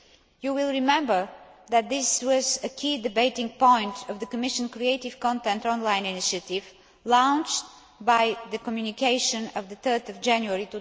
You will remember that this was a key debating point of the Commission Creative Content Online initiative launched by the Communication of 3 January